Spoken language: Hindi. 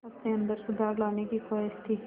अपने अंदर सुधार लाने की ख़्वाहिश थी